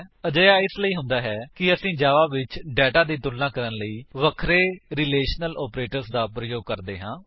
ਅਜਿਹਾ ਇਸਲਈ ਹੁੰਦਾ ਹੈ ਕਿ ਅਸੀ ਜਾਵਾ ਵਿੱਚ ਡੇਟਾ ਦੀ ਤੁਲਣਾ ਕਰਨ ਲਈ ਵੱਖਰੇ ਰਿਲੇਸ਼ਨਲ ਆਪਰੇਟਰਸ ਦਾ ਪ੍ਰਯੋਗ ਕਰਦੇ ਹਾਂ